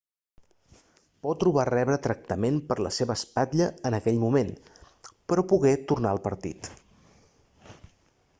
potro va rebre tractament per la seva espatlla en aquell moment però pogué tornar al partit